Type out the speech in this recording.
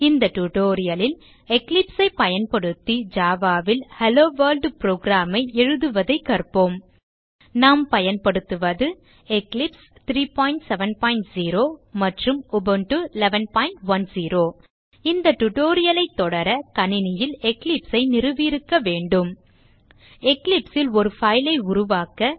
இந்த tutorial ல் Eclipse ஐ பயன்படுத்தி Java ல் ஹெல்லோ Worldprogram ஐ எழுதுவதைக் கற்போம் நாம் பயன்படுத்துவது எக்லிப்ஸ் 370 மற்றும் உபுண்டு 1110 இந்த tutorial ஐ தொடர கணினியில் Eclipse ஐ நிறுவியிருக்க வேண்டும் Eclipse ல் ஒரு file ஐ உருவாக்க